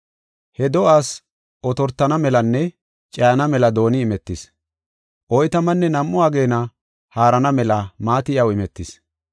He do7aas otortana melanne cayana mela dooni imetis; oytamanne nam7u ageena haarana mela maati iyaw imetis.